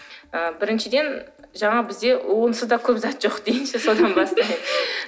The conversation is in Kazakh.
ы біріншіден жаңағы бізде онсыз да көп зат жоқ дейінші содан бастайық